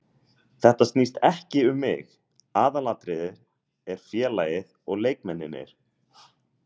Þetta snýst ekki um mig, aðalatriðið er félagið og leikmennirnir.